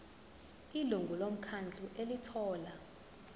ilungu lomkhandlu elithola